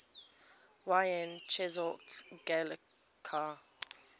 yn cheshaght ghailckagh